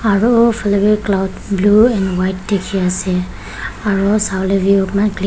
aro u faleh vi cloud blue and white dikhi ase aro savolae view eman clea--